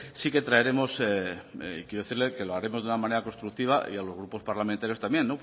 sí que traeremos quiero decirle que lo haremos de una manera constructiva y a los grupos parlamentarios también